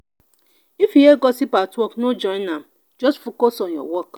if you hear gossip at work no join am just focus on your work.